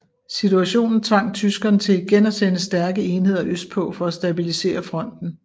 Situationen tvang tyskerne til igen at sende stærke enheder østpå for at stabilisere fronten